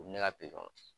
U bɛ ne ka